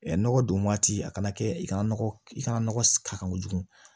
nɔgɔ don waati a kana kɛ i kana nɔgɔ i kana nɔgɔ ka kojugu